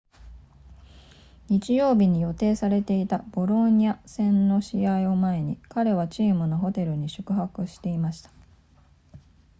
日曜日に予定されていたボローニャ戦の試合を前に彼はチームのホテルに宿泊していました